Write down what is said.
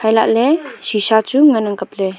hailahley shisha chu ngan ang kapley.